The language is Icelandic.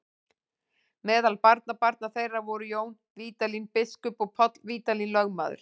Meðal barnabarna þeirra voru Jón Vídalín biskup og Páll Vídalín lögmaður.